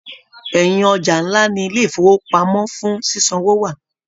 Ẹyin ọja nlá ní ilé ifowopamọ fún ṣiṣanwo wà.